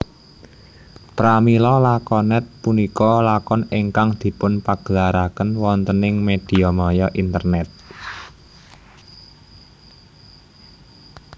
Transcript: Pramila lakonet punika lakon ingkang dipunpagelaraken wontening mediamaya internet